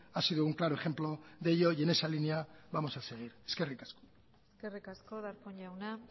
ha sido un claro ejemplo de ello y en esa línea vamos a seguir eskerrik asko eskerrik asko darpón jauna